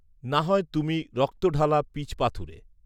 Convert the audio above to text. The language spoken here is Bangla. না হয় তুমি রক্তঢালা পীচপাথুরে